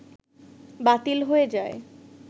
বাতিল হয়ে যায়